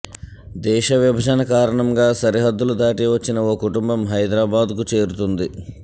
దేశ విభజన కారణంగా సరిహద్దులు దాటి వచ్చిన ఓ కుటుంబం హైదరాబాద్కు చేరుతుంది